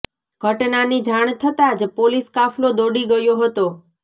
ઘટનાની જાણ થતા જ પોલીસ કાફલો દોડી ગયો હતો